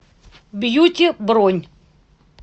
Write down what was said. бьюти бронь